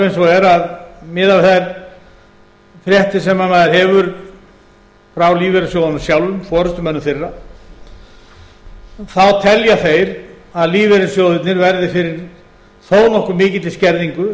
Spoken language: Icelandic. eins og er að miðað við þær fréttir sem maður hefur frá lífeyrissjóðunum sjálfum forustumönnum þeirra þá telja þeir að lífeyrissjóðirnir verði fyrir þó nokkuð mikilli skerðingu